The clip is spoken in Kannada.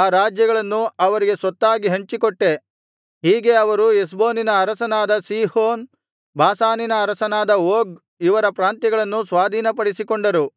ಆ ರಾಜ್ಯಗಳನ್ನು ಅವರಿಗೆ ಸ್ವತ್ತಾಗಿ ಹಂಚಿಕೊಟ್ಟೆ ಹೀಗೆ ಅವರು ಹೆಷ್ಬೋನಿನ ಅರಸನಾದ ಸೀಹೋನ್ ಬಾಷಾನಿನ ಅರಸನಾದ ಓಗ್ ಇವರ ಪ್ರಾಂತ್ಯಗಳನ್ನು ಸ್ವಾಧೀನಪಡಿಸಿಕೊಂಡರು